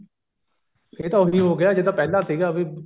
ਇਹ ਤਾਂ ਉਹੀ ਹੋ ਗਿਆ ਜਿੱਦਾਂ ਪਹਿਲਾਂ ਸੀਗਾ ਵੀ